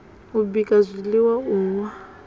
u bika zwiiwa u nwa